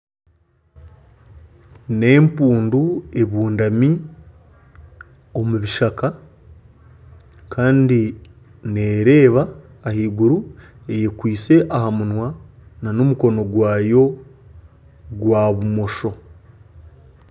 N'empundu ebundami omu bishaka kandi neereeba ahaiguru, eyekwitse aha munwa nana omukono gwayo gwa bumosho